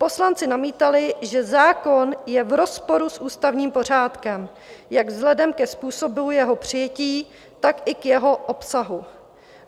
Poslanci namítali, že zákon je v rozporu s ústavním pořádkem jak vzhledem ke způsobu jeho přijetí, tak i k jeho obsahu.